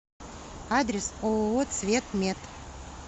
адрес ооо цветмет